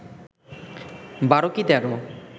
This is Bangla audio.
বারো কি তেরো